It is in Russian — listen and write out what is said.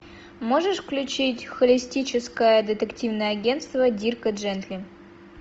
можешь включить холистическое детективное агентство дирка джентли